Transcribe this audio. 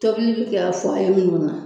Tobili bɛ kɛ minnu na.